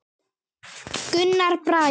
Gunnar Bragi.